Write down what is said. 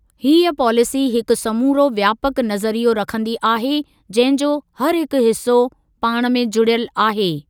हीअ पॉलिसी हिकु समूरो व्यापक नज़रियो रखंदी आहे, जंहिं जो हरहिकु हिसो पाण में जुड़ियल आहे।